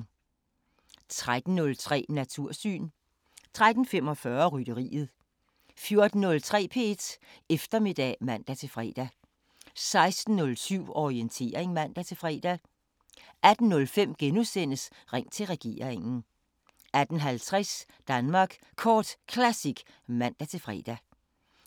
13:03: Natursyn 13:45: Rytteriet 14:03: P1 Eftermiddag (man-fre) 16:07: Orientering (man-fre) 18:05: Ring til regeringen * 18:50: Danmark Kort Classic (man-fre)